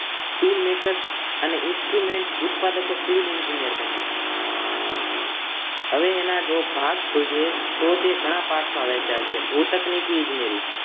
tool maker અને instrument ઉત્પાદકો civil engineer બન્યા હવે જો એના ભાગ જોઈએ તો તે ગણા ભાગમાં વહેચાયેલ છે ભુતનેકી ઈજનેરી